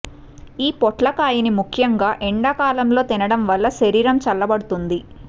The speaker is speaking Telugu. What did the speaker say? ఈ పోట్లకాయని ముఖ్యంగా ఎండా కాలంలో తినటం వల్ల శరీరం చల్లబడుతుంది